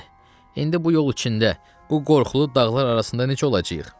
İndi bu yol içində, bu qorxulu dağlar arasında necə olacağıq?